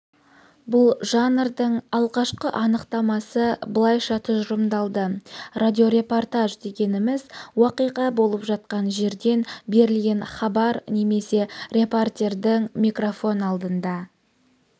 бұл жанрдың алғашқы анықтамасы былайша тұжырымдалды радиорепортпаж дегеніміз уақиға болып жатқан жерден берілген хабар немесе репортердің микрофон алдында